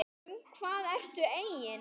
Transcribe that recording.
Um hvað ertu eigin